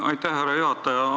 Aitäh, härra juhataja!